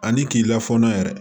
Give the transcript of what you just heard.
Ani k'i lafaamuya yɛrɛ